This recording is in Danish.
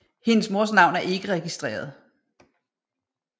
Hendes mors navn er ikke registreret